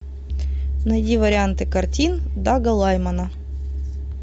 найди варианты картин дага лаймана